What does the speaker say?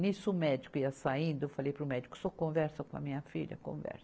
Nisso o médico ia saindo, eu falei para o médico, o senhor conversa com a minha filha, converso.